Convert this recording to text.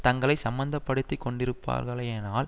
தங்களை சம்மந்தப்படுத்தி கொண்டிருப்பார்களேயானால்